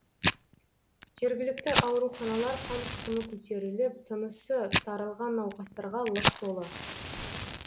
жергілікті ауруханалар қан қысымы көтіріліп тынысы тарылған науқастарға лық толы